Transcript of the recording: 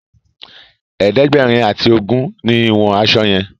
ẹ̀ẹ́dẹ̀gbẹ̀rin ati ogún ní ìwòn aṣọ yen.